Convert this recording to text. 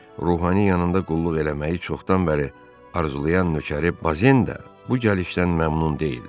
Ruhani yanında qulluq eləməyi çoxdan bəri arzulayan nökəri Bazenda bu gəlişdən məmnun deyildi.